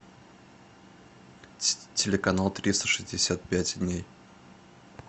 телеканал триста шестьдесят пять дней